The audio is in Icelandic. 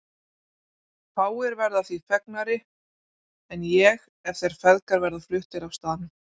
Fáir verða því fegnari en ég ef þeir feðgar verða fluttir af staðnum.